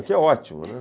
O que é ótimo, né?